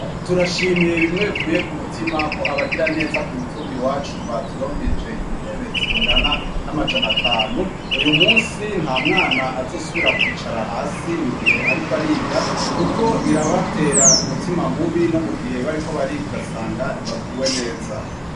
Turashimye bimwe vuye ku mutima ko abagira neza ku mutumbi wacu baturonkeje intebe zingana n'amajana atanu uyu munsi nta mwana azusubira kwicara hasi mu gihe ariko ariga kuko birabatera umutima mubi no mu gihe bariko bariga ugasanga ntibaguwe neza.